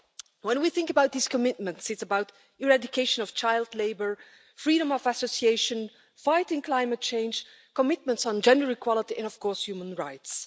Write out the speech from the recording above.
When we think about these commitments, it's about eradication of child labour, freedom of association, fighting climate change, commitments on gender equality and, of course, human rights.